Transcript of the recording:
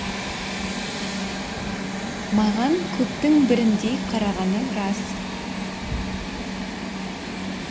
маған көптің біріндей қарағаны рас